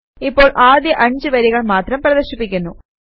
ഇപ്പോൾ ആദ്യ 5 വരികൾ മാത്രം പ്രദർശിപ്പിക്കുന്നു